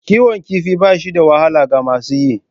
Kiwon kifi ba shi da wahala ga masu yi.